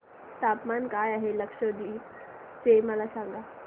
तापमान काय आहे लक्षद्वीप चे मला सांगा